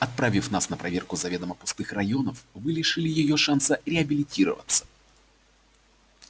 отправив нас на проверку заведомо пустых районов вы лишили её шанса реабилитироваться